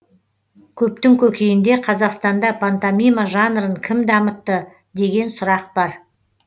көптің көкейінде қазақстанда пантомима жанрын кім дамытты деген сұрақ бар